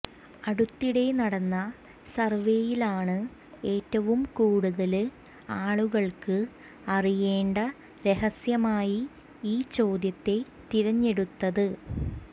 അടുത്തിടെ നടന്ന സര്വ്വേയിലാണ് ഏറ്റവും കൂടുതല് ആളുകള്ക്ക് അറിയേണ്ട രഹസ്യമായി ഈ ചോദ്യത്തെ തിരഞ്ഞെടുത്തത്